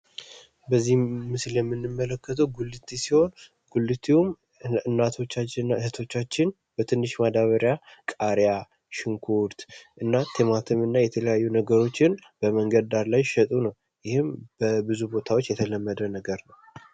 በዚህ ምስል የምንመለከተው ጉልት ሲሆን ጉልቴውም እናቶቻችን እና እህቶቻችን በትሽ ማዳበሪያ ቃሪያ ሽንኩርት እና ቲማቲም እና የተለያዩ ነገሮችን በመንገድ ዳር ላይ እየሸጡ ነው። ይህም በብዙ ቦታዎች የተለመደ ነገር ነው።